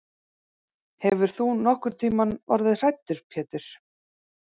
Hefur þú nokkurntíma orðið hræddur Pétur?